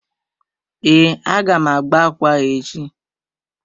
Ee, a ga m agba ákwà ahụ echi.